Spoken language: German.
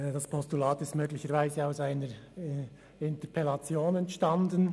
Das Postulat ist anscheinend aus einer Interpellation entstanden.